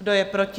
Kdo je proti?